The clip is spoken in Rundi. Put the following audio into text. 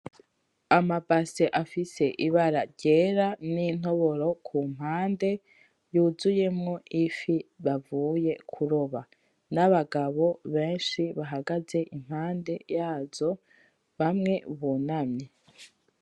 Amabase afise Ibara ryera n'intoboro kumpande, yuzuyemwo Ifi bavuye kuroba n'Abagabo benshi bahagaze impande yazo bamwe bunamye.